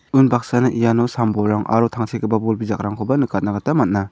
vunbaksana iano sam bolrang aro tangsekgipa bol bijakrangkoba nikatna gita man·a.